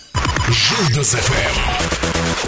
жұлдыз эф эм